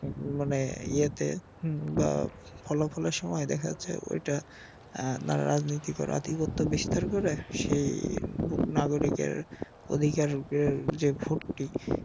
মানে ইয়েতে হম বা ফলাফলের সময় দেখা যাচ্ছে ঐটা এর যারা রাজনীতি করে আধিপত্য বিস্তার করে সেই নাগরিকের অধিকার যে ভোটটি